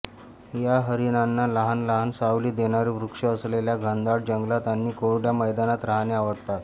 या हरीणांना लहान लहान सावली देणारे वृक्ष असलेल्या घनदाट जंगलात आणि कोरड्या मैदानात राहणे आवडते